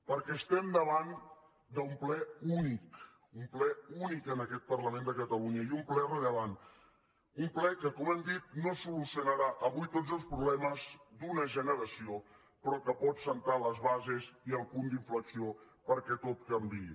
perquè estem davant d’un ple únic un ple únic en aquest parlament de catalunya i un ple rellevant un ple que com hem dit no solucionarà avui tots els problemes d’una generació però que pot assentar les bases i el punt d’inflexió perquè tot canviï